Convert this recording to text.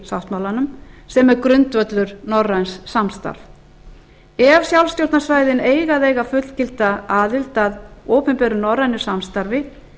sáttmálanum sem er grundvöllur norræns samstarfs ef sjálfstjórnarsvæðin eiga að eiga fullgilda aðild að opinberu norrænu samstarfi